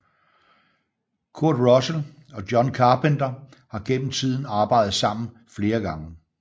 Kurt Russell og John Carpenter har gennem tiden arbejdet sammen flere gange